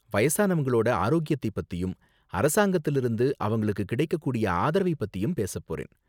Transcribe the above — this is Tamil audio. வயசானவங்களோட ஆரோக்கியத்தைப் பத்தியும், அரசாங்கத்துல இருந்து அவங்களுக்கு கிடைக்கக் கூடிய ஆதரவைப் பத்தியும் பேசப் போறேன்.